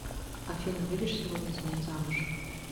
афина выйдешь сегодня за меня замуж